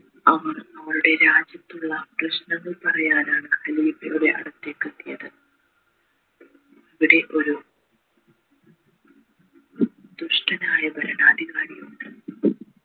അവർ അവരുടെ രാജ്യത്തുള്ള പ്രശ്നങ്ങൾ പറയാനാണ് ഖലീഫയുടെ അടുത്തേക് എത്തിയത് അവിടെ ഒരു ദുഷ്ടൻ ആയ ഭരണാധികാരിയുണ്ട്